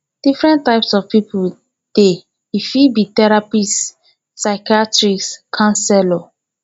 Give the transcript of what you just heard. different types of help dey e fit be therapist psychiathrist councelor